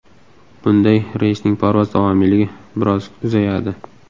Bunday reysning parvoz davomiyligi biroz uzayadi.